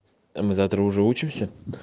а мы завтра уже учимся